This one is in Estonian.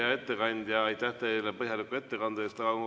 Hea ettekandja, aitäh teile põhjaliku ettekande eest!